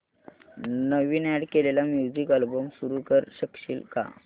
नवीन add केलेला music album सुरू करू शकशील का